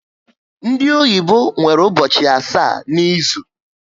Ndị oyibo nwere ụbọchị asaá n'izu